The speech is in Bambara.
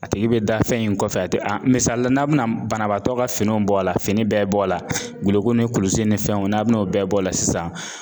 A tigi bɛ da fɛn in kɔfɛ a tɛ a misali la n'a bɛna banabaatɔ ka finiw bɔ a la fini bɛɛ bɔ a la guloki ni kulusi ni fɛnw n'a bɛna o bɛɛ bɔ a la sisan